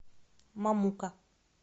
мамука